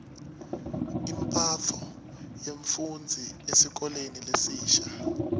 imphatfo yemfufndzi esikolweni lesisha